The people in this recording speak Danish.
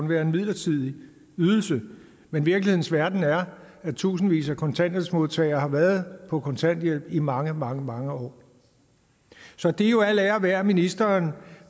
være en midlertidig ydelse men virkelighedens verden er at tusindvis af kontanthjælpsmodtagere har været på kontanthjælp i mange mange mange år så det er jo al ære værd at ministeren